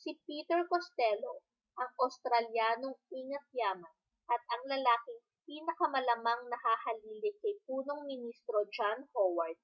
si peter costello ang australyanong ingat-yaman at ang lalaking pinakamalamang na hahalili kay punong ministro john howard